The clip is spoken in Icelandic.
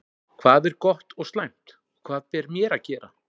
Hvað er gott og slæmt? og Hvað ber mér að gera?